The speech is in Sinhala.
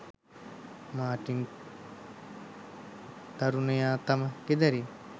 මාටින් තරුණයා තම ගෙදරින්